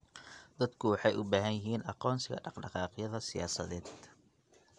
Dadku waxay u baahan yihiin aqoonsiga dhaqdhaqaaqyada siyaasadeed.